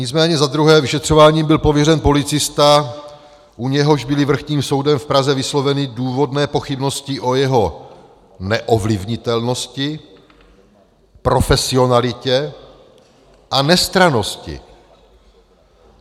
Nicméně za druhé - vyšetřováním byl pověřen policista, u něhož byly Vrchním soudem v Praze vysloveny důvodné pochybnosti o jeho neovlivnitelnosti, profesionalitě a nestrannosti.